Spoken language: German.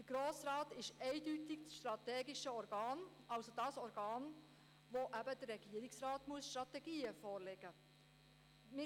Der Grosse Rat ist eindeutig das strategische Organ, jenes Organ also, dem der Regierungsrat die Strategien vorlegen muss.